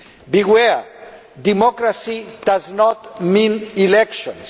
Beware democracy does not mean elections.